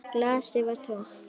Glasið var tómt.